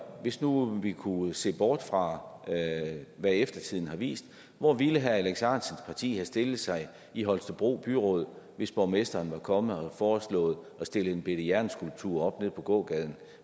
hvis nu vi kunne se bort fra hvad eftertiden har vist hvor ville herre alex ahrendtsens parti så have stillet sig i holstebro byråd hvis borgmesteren var kommet og havde foreslået at stille en bitte jernskulptur op nede på gågaden